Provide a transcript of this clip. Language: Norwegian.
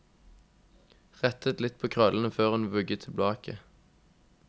Rettet litt på krøllene før hun vugget tilbake.